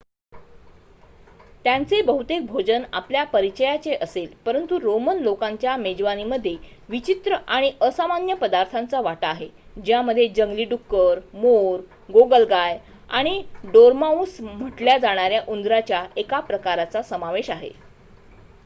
त्यांचे बहुतेक भोजन आपल्या परिचयाचे असेल परंतु रोमन लोकांच्या मेजवानीमध्ये विचित्र आणि असामान्य पदार्थ्यांचा वाटा आहे त्यामध्ये जंगली डुक्कर मोर गोगलगाय आणि डोरमाउस म्हटल्या जाणाऱ्या उंदराच्या एका प्रकाराचा समावेश आहे